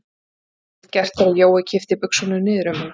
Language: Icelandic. Hún gat ekkert gert þegar Jói kippti buxunum niður um hana.